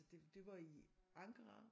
Det det var i Ankara